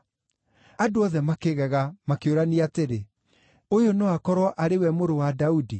Andũ othe makĩgega, makĩũrania atĩrĩ, “Ũyũ no akorwo arĩ we Mũrũ wa Daudi?”